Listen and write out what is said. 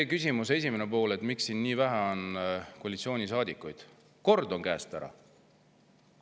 No küsimuse esimesele poolele, miks siin on nii vähe koalitsioonisaadikuid, kord on käest ära.